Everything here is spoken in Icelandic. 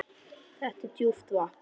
Þetta er djúpt vatn.